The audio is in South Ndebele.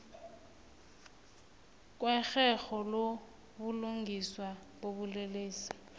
kwerherho lobulungiswa bobulelesi